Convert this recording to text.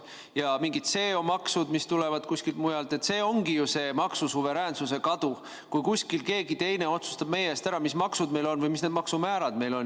Ja mingid CO maksud, mis tulevad kuskilt mujalt – see ongi ju see maksusuveräänsuse kadu, kui kuskil keegi teine otsustab meie eest ära, mis maksud meil on või mis need maksumäärad meil on.